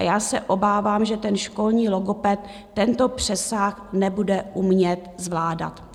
A já se obávám, že ten školní logoped tento přesah nebude umět zvládat.